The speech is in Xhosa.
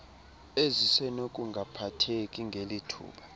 ezisenokungaphatheki ngeli thuba